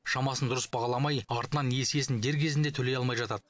шамасын дұрыс бағаламай артынан несиесін дер кезінде төлей алмай жатады